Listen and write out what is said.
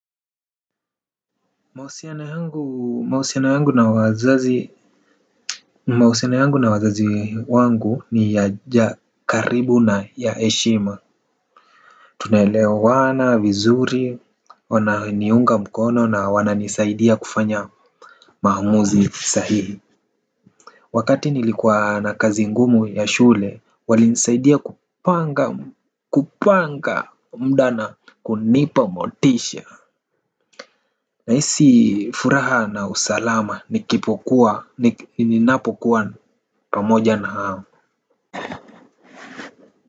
Mahusiano yangu na wazazi wangu ni ya karibu na ya heshima. Tunaele wana vizuri wana niunga mkono na wana nisaidia kufanya maamuzi sahihi. Wakati nilikuwa na kazi ngumu ya shule wali nisaidia kupanga kupanga mda na kunipa motisha. Nahisi furaha na usalama nikipokuwa, nik ninapokuwa pamoja na hao.